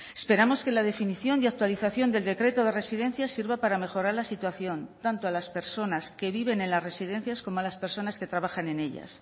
esperamos que la definición y actualización del decreto de residencias sirva para mejorar la situación tanto a las personas que viven en las residencias como a las personas que trabajan en ellas